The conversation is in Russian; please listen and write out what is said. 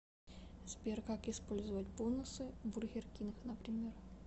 сбер как использовать бонусы в бургер кинг например